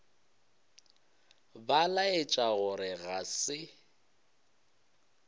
ba laetša gore ga se